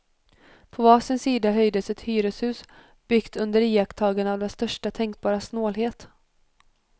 På var sida höjde sig ett hyreshus, byggt under iakttagande av den största tänkbara snålhet.